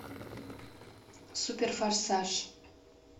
суперфорсаж